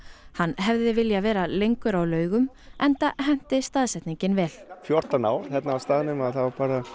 hann hefði viljað vera lengur á Laugum enda henti staðsetningin vel fjórtán ár hérna á staðnum þá